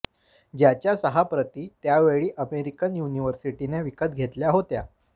ज्याच्या सहा प्रती त्यावेळी अमेरिकन युनिव्हर्सिटीने विकत घेतल्या होत्या